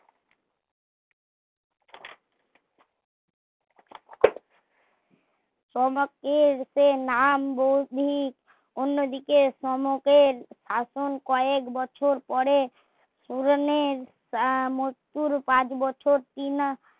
সনকের সে নাম ভৌগোলিক অন্য দিকে সনকের শাসন কয়েক বছর পরে সুরনির মত্যুর পাঁচ বছর কিনা